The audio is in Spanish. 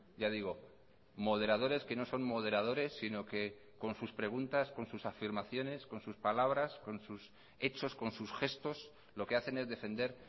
ya digo moderadores que no son moderadores sino que con sus preguntas con sus afirmaciones con sus palabras con sus hechos con sus gestos lo que hacen es defender